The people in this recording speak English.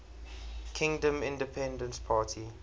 kingdom independence party